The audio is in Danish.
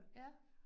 Ja